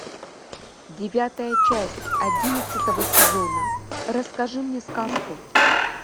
девятая часть одиннадцатого сезона расскажи мне сказку